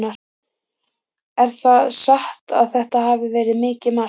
Er það satt að þetta hafi verið mitt mark?